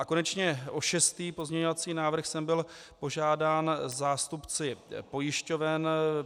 A konečně o šestý pozměňovací návrh jsem byl požádán zástupci pojišťoven.